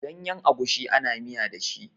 Ganyen agushi ana miya da shi.